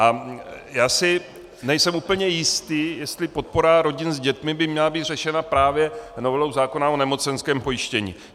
A já si nejsem úplně jistý, jestli podpora rodin s dětmi by měla být řešena právě novelou zákona o nemocenském pojištění.